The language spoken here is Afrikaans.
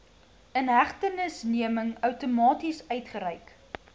inhegtenisneming outomaties uitgereik